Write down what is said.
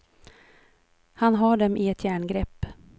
Han har dem i ett järngrepp.